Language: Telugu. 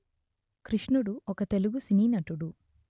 కృష్ణుడు ఒక తెలుగు సినీ నటుడు